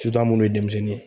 Sutu an munnu ye denmisɛnnin ye.